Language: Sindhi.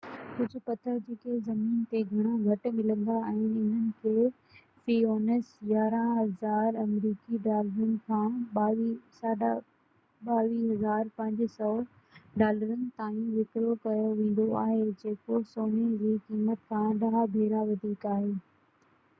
ڪجهه پٿر جيڪي زمين تي گهڻا گهٽ ملندا آهن انهن کي في اونس 11000 آمريڪي ڊالرن کان 22500 ڊالرن تائين وڪرو ڪيو ويندو آهي جيڪو سوني جي قيمت کان ڏهہ ڀيرا وڌيڪ آهي